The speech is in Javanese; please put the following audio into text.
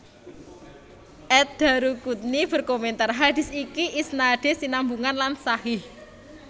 Ad Daruquthni berkomentar Hadits iki isnadé sinambungan lan sahih